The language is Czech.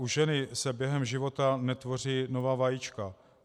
U ženy se během života netvoří nová vajíčka.